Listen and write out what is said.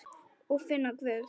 Og finna Guð.